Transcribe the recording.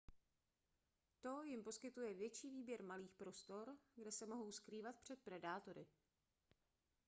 to jim poskytuje větší výběr malých prostor kde se mohou skrývat před predátory